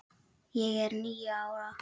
Ég var níu ára.